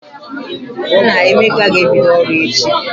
Nna Emeka ga-ebido ọrụ echi.